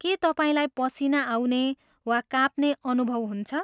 के तपाईँलाई पसिना आउने वा काँप्ने अनुभव हुन्छ?